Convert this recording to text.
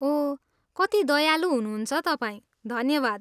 अहो, कति दयालु हुनुहुन्छ तपाईँ, धन्यवाद।